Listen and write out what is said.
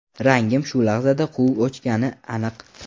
Rangim shu lahzada quv o‘chgani aniq.